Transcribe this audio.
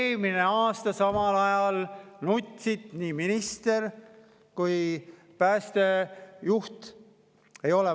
Eelmine aasta samal ajal nutsid nii minister kui ka päästejuht: ei ole.